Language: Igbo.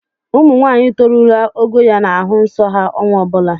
Ụmụnwaanyị torurula ogo ya na-ahụ nsọ ha ọnwa ọ bụla